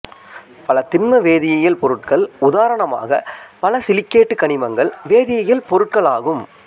பல திண்ம வேதியியல் பொருட்கள் உதாரணமாக பல சிலிக்கேட்டு கனிமங்கள் வேதியியல் பொருட்களாகும்